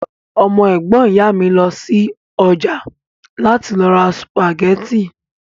Ọmọ ẹ̀gbọ́n ìyá mi lọ sí ọjà láti lọ ra sùpàgẹ́tì